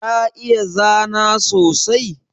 Ka iya zana sosai?